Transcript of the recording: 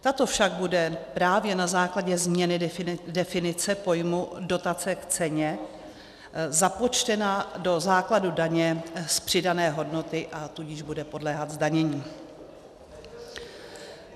Tato však bude právě na základě změny definice pojmu dotace k ceně započtena do základu daně z přidané hodnoty, a tudíž bude podléhat zdanění.